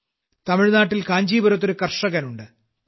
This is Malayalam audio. തമിഴ്നാട്ടിൽ കാഞ്ചീപുരത്ത് ഒരു കർഷകനുണ്ട്